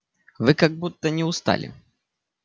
вы как будто не устали